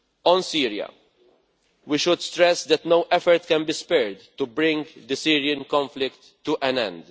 On Syria, we should stress that no effort can be spared to bring the Syrian conflict to an end.